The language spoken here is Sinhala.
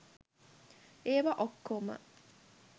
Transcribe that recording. ඒවා ඔක්කොම